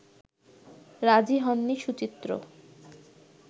রাজি হননি সুচিত্র